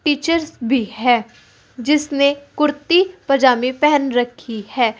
Teachers भी है जिसने कुर्ती पजामी पहन रखी है।